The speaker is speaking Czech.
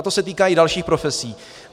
A to se týká i dalších profesí.